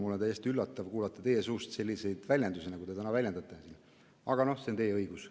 Mul on täiesti üllatav kuulata teie suust selliseid väljendusi, aga see on teie õigus.